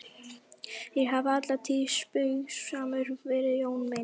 Þér hafið alla tíð spaugsamur verið Jón minn.